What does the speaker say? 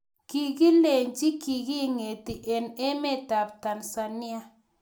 Kokilechi kiketi eng emet ab Tanzania